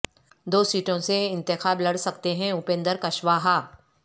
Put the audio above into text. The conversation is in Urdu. دو سیٹوں سے انتخاب لڑ سکتے ہیں اپندر کشواہا